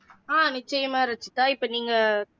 நிச்சயமா ரச்சிதா இப்போ நீங்க